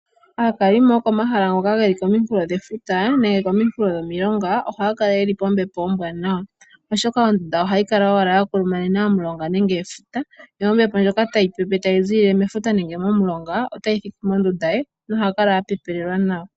Aakalimo yokomahala ngoka haga kala geli kominkulo dhefuta nenge kominkulo dhomilonga ohaya kala yeli pombepo ombwaanawa oshoka ondunda ohayi kala owala ya kulumanena omulonga nenge efuta yo ombepo tayi pepe tayi ziilile mefuta nenge momulonga otayi thiki mondunda ye nohakala a pepelelwa nawa.